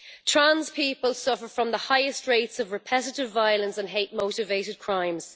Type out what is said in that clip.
Trans people suffer from the highest rates of repetitive violence and hate motivated crimes.